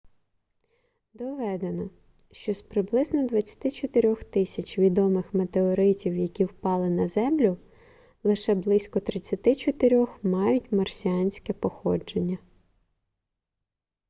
доведено що з приблизно 24000 відомих метеоритів які впали на землю лише близько 34 мають марсіанське походження